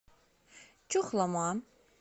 чухлома